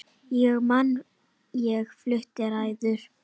Ég man ég flutti ræðu.